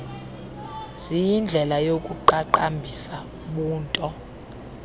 ziyindlela yokuqaqambisa ubunto